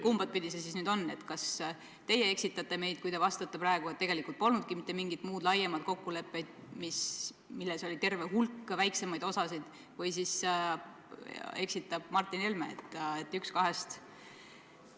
Kumba pidi see nüüd siis on: kas teie eksitate meid, kui te vastate praegu, et tegelikult polnudki mitte mingit muud, laiemat kokkulepet, milles oli terve hulk väiksemaid osasid, või siis eksitab Martin Helme?